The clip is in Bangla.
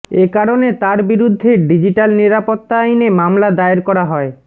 একারণে তার বিরুদ্ধে ডিজিটাল নিরাপত্তা আইনে মামলা দায়ের করা হয়